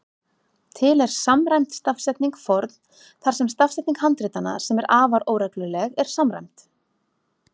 Til er samræmd stafsetning forn þar sem stafsetning handritanna, sem er afar óregluleg, er samræmd.